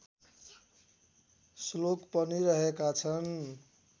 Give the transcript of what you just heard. श्लोक पनि रहेका छन्